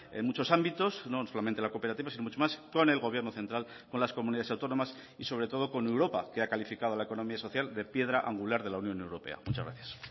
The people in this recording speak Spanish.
en muchos ámbitos no solamente en la cooperativa sino mucho más con el gobierno central con las comunidades autónomas y sobre todo con europa que ha calificado la economía social de piedra angular de la unión europea muchas gracias